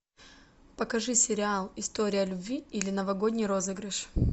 покажи сериал история любви или новогодний розыгрыш